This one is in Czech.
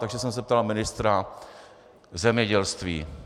Takže jsem se ptal ministra zemědělství.